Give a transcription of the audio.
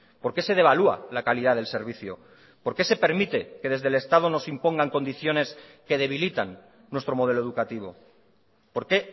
por qué se devalúa la calidad del servicio por qué se permite que desde el estado nos impongan condiciones que debilitan nuestro modelo educativo por qué